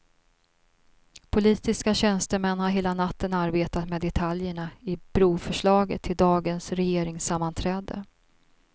Politiska tjänstemän har hela natten arbetat med detaljerna i broförslaget till dagens regeringssammanträde.